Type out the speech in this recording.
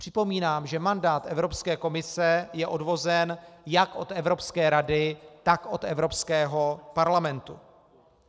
Připomínám, že mandát Evropské komise je odvozen jak od Evropské rady, tak od Evropského parlamentu.